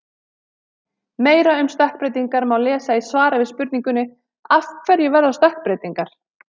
Meira um stökkbreytingar má lesa í svari við spurningunni: Af hverju verða stökkbreytingar?